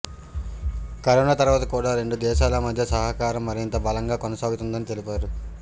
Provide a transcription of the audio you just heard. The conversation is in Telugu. కరోనా తర్వాత కూడా రెండు దేశాల మధ్య సహకారం మరింత బలంగా కొనసాగుతుందని తెలిపారు